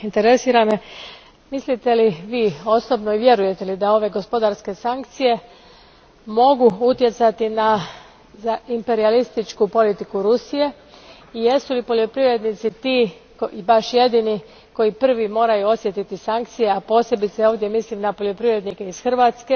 Zanima me, mislite li vi osobno i vjerujete li da ove gospodarske sankcije mogu utjecati na imperijalističku politiku Rusije i jesu li poljoprivrednici ti i baš jedini koji prvi moraju osjetiti sankcije, a ovdje posebice mislim na poljoprivrednike iz Hrvatske.